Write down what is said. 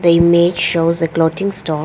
image shows a clothing store.